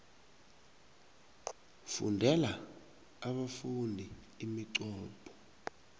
fundela abafundi iminqopho